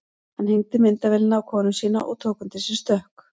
Hann hengdi myndavélina á konu sína og tók undir sig stökk.